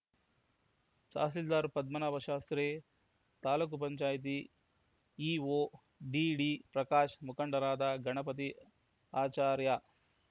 ತಹಸೀಲ್ದಾರ್‌ ಪದ್ಮನಾಭ ಶಾಸ್ತ್ರೀ ತಾಲೂಕ್ ಪಂಚಾಯತಿ EO ಡಿಡಿಪ್ರಕಾಶ್‌ ಮುಖಂಡರಾದ ಗಣಪತಿ ಆಚಾರ್ಯ